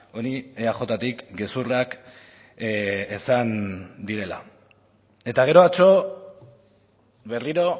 honi eajtik gezurrak esan direla eta gero atzo berriro